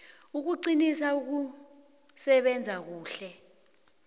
ukuqinisa ukusebenza kuhle